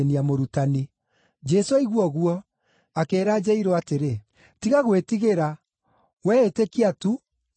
Jesũ aigua ũguo, akĩĩra Jairũ atĩrĩ, “Tiga gwĩtigĩra, wee ĩtĩkia tu, na nĩekũhona.”